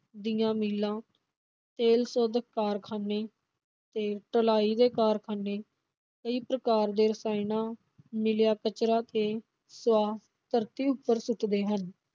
ਦੀਆਂ ਮਿੱਲਾਂ, ਤੇਲ ਸੋਧਕ ਕਾਰਖ਼ਾਨੇ ਤੇ ਢਲਾਈ ਦੇ ਕਾਰਖਾਨੇ ਕਈ ਪ੍ਰਕਾਰ ਦੇ ਰਸਾਇਣਾਂ ਮਿਲਿਆ ਕਚਰਾ ਤੇ ਸੁਆਹ ਧਰਤੀ ਉੱਪਰ ਸੁੱਟਦੇ ਹਨ।